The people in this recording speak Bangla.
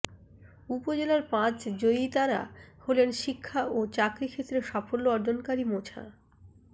উপজেলার পাঁচ জয়িতারা হলেন শিক্ষা ও চাকরি ক্ষেত্রে সাফল্য অর্জনকারী মোছা